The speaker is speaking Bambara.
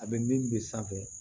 A bɛ min bɛ sanfɛ